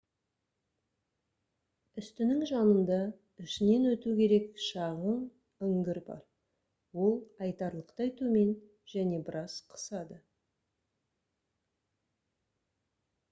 үстінің жанында ішінен өту керек шағын үңгір бар ол айтарлықтай төмен және біраз қысады